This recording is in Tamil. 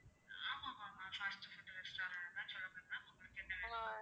ஆமா ஆமா ஆமா fast food restaurant தான் சொல்லுங்க ma'am உங்களுக்கு என்ன வேணும்?